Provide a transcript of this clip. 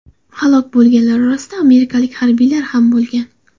Halok bo‘lganlar orasida amerikalik harbiylar ham bo‘lgan.